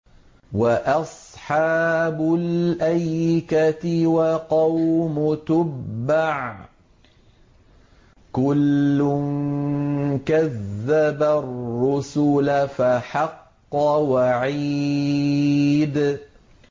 وَأَصْحَابُ الْأَيْكَةِ وَقَوْمُ تُبَّعٍ ۚ كُلٌّ كَذَّبَ الرُّسُلَ فَحَقَّ وَعِيدِ